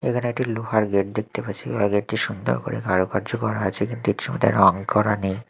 এখানে একটি লোহার গেট দেখতে পাচ্ছি লোহার গেট -টি সুন্দর করে কারুকার্য করা আছে কিন্তু এটির মধ্যে রং করা নেই।